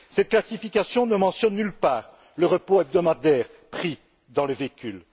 Cette classification ne mentionne nulle part le repos hebdomadaire, pris dans le véhicule.